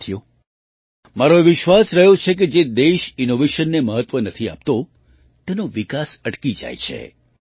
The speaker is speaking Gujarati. સાથીઓ મારો એ વિશ્વાસ રહ્યો છે કે જે દેશ ઇનૉવેશનને મહત્ત્વ નથી આપતો તેનો વિકાસ અટકી જાય છે